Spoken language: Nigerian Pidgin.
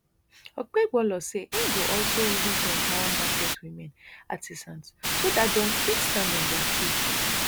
okpebholo say e go also reason to empower market women artisans so dat dem fit stand on dia feet